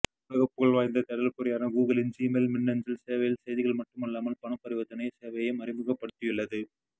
உலக புகழ்வாய்ந்த தேடல் பொறியான கூகுளின் ஜிமெயில் மின்னசல் சேவையில் செய்திகள் மட்டுமல்லாமல் பணபரிவர்த்தனை சேவையையும் அறிமுகப்படுத்தியுள்ளது